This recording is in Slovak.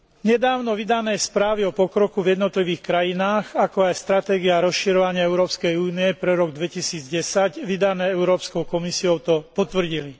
Nedávno vydané správy o pokroku v jednotlivých krajinách, ako aj stratégia rozširovania Európskej únie pre rok 2010, vydané Európskou komisiou, to potvrdili.